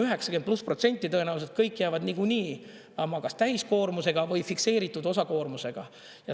90+% tõenäoliselt kõik jäävad niikuinii kas täiskoormusega või fikseeritud osakoormusega.